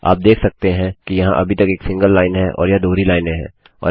आप देख सकते हैं कि यह अभी तक एक सिंगल लाइन है और यह दोहरी लाइनें हैं